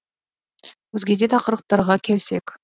өзге де тақырыптарға келсек